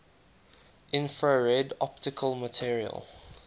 infrared optical material